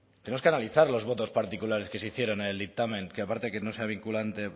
tenemos que analizar los votos particulares que se hicieron en el dictamen que aparte de que no sea vinculante